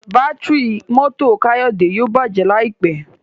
Bátìrì mọ́tò Kayode yíò bàjé láìpé.